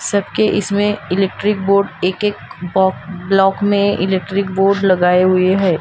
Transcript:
सबके इसमें electric board एक एक बोक ब्लॉक में इलेक्ट्रिक बोर्ड लगाए हुए हैं।